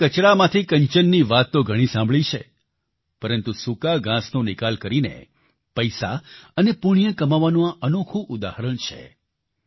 આપણે કચરામાંથી કંચનની વાત તો ઘણી સાંભળી છે પરંતુ સૂકા ઘાંસનો નિકાલ કરીને પૈસા અને પુણ્ય કમાવાનું આ અનોખું ઉદાહરણ છે